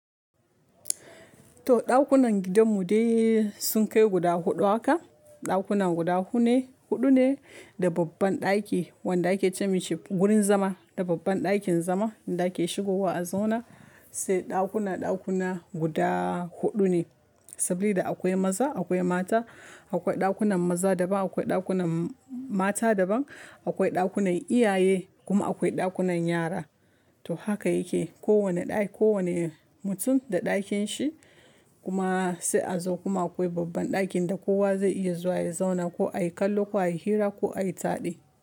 To dakunan gidan mu dai sun kai guda huɗu haka. Ɗakunan guda hudu ne, da babban ɗaki wanda ake ce ma shi wurin zama. Da babban ɗakin zama inda ake shigowa a zauna. Sai ɗakuna, ɗakuna guda huɗu ne. Sabida akwa maza akwai mata akwai dakunan maza daban akwai dakunan mata daba akwai dakunan iyaye kuma akwai dakunan yara to haka yake. Kowane ɗaki, kowane mutum da ɗakin shi kuma sai a zo kuma akwai babban ɗakin da kowa zai iya zuwa ya zauna ko a yi kallo ko a yi hira ko a yi taɗi.